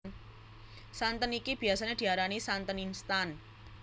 Santen iki biyasané diarani santen instan